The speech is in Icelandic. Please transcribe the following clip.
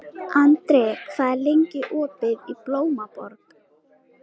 Andri, hvað er lengi opið í Blómaborg?